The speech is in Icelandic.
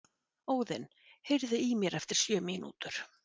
Óðinn, heyrðu í mér eftir sjötíu mínútur.